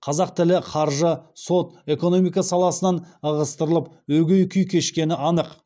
қазақ тілі қаржы сот экономика саласынан ығыстырылып өгей күй кешкені анық